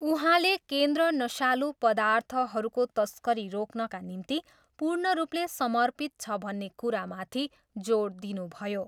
उहाँले केन्द्र नसालु पर्दाथहरूको तस्करी रोक्नका निम्ति पूर्णरूपले समर्पित छ भन्ने कुरामाथि जोड दिनुभयो।